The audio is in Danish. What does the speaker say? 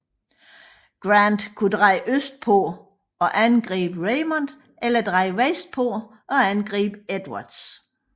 Grant kunne dreje østpå og angribe Raymond eller dreje vestpå og angribe Edwards